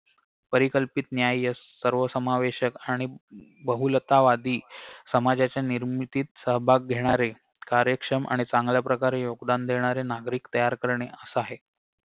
परिकल्पित न्यायस सर्वसमावेशक आणि बहुलतावादी समाजाच्या निर्मितीत सहभाग घेणारे कार्यक्षम आणि चांगल्या प्रकारे योगदान देणारे नागरिक तयार करणे असा आहे